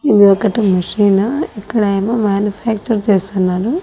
ఇది ఒకటి మెషినా ఇక్కడేమో మ్యానుఫ్యాక్చర్ చేస్తున్నారు.